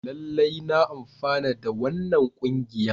Lallai na amfana da wannan kungiyan.